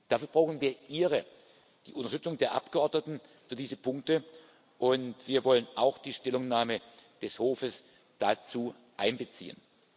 Dafür brauchen wir Ihre die Unterstützung der Abgeordneten für diese Punkte, und wir wollen auch die Stellungnahme des Hofs dazu einbeziehen.